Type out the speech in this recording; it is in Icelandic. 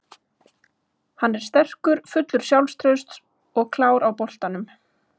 Hann er sterkur, fullur sjálfstrausts og klár á boltanum.